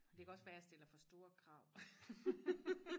det kan også være jeg stiller for store krav